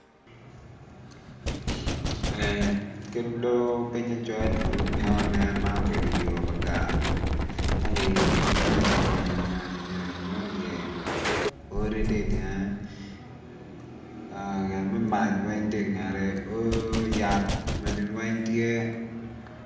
Ber kede odo pinge col ento gimoni nen man obedo yo gar ma giyubo gi nyonyo nyonyo mo i ye odi tye i dyenge gin me mac weng tye i ngete o yat magi weng tye.